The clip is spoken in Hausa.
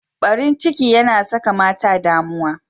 Barin ciki yana saka mata damuwa.